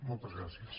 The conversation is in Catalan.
moltes gràcies